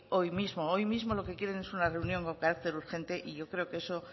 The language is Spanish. hoy mismo hoy mismo lo que quieren es una reunión con carácter urgente y yo creo que eso